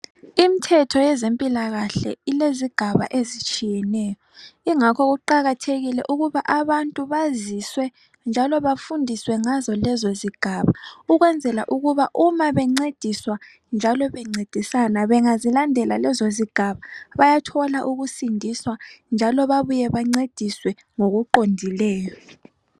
Imithetho yezempilakahle ilezigaba ezitshiyeneyo yingakho kuqakathakile ukuthi abantu baziswe njalo bafundiswe ngazo lezo zigaba kwenzela ukuba uma bencediswe njalo bencedisana bengazilandela lezo zigaba bayathola ukusindiswa njalo babuye bancediswe ngokuqondileyo